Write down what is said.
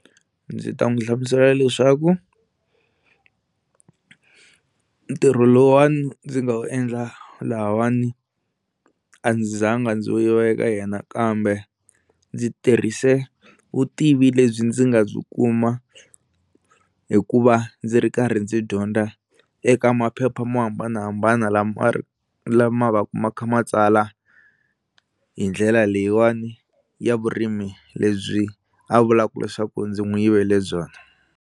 Ndzi ta n'wi hlamusela leswaku ntirho lowuwani ndzi nga u endla lahawani a ndzi za nga ndzi wu yive eka yena kambe ndzi tirhise vutivi lebyi ndzi nga byi kuma hikuva ndzi ri karhi ndzi dyondza eka maphepha mo hambanahambana lama lama va ku ma kha ma tsala hi ndlela leyiwani ya vurimi lebyi a vulaka leswaku ndzi n'wi yivele byona.